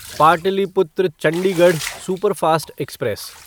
Pataliputra Chandigarh superfast express